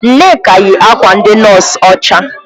Nneka yi akwa ndị nọọsụ ọcha.